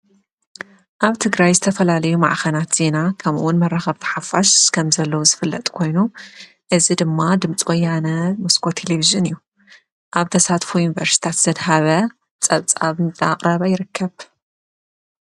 ኣብቲ ግራይ ዝተፈላልዩ መኣኸናት ዚና ኸምውን መረኸብቲ ሓፋሽ ከም ዘለዎ ዝፍለጥ ኮይኑ እዝ ድማ ድምፂ ወያነ ምስኮ ቴሌብዝን እዩ ኣብ ተሳትፍ ይንበርስታት ሰድ ሃበ ጸብጻብ ንቕረብ ይርከብ።